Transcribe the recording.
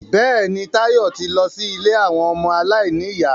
Bẹ́ẹ̀ni, Táyọ̀ ti lọ sí ilé àwọn ọmọ aláìníyà